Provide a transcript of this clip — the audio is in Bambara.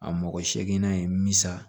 A mɔgɔ seeginna in misa